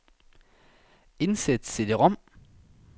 Indsæt cd-rom.